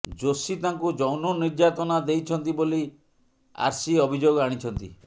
ଜୋଶି ତାଙ୍କୁ ଯୌନ ନିର୍ଯାତନା ଦେଇଛନ୍ତି ବୋଲି ଆର୍ସି ଅଭିଯୋଗ ଆଣିଛନ୍ତି